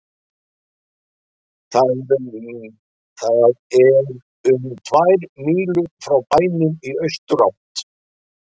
Það er um tvær mílur frá bænum í austurátt.